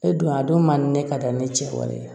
E don a don man di ne ka da ne cɛ wale ye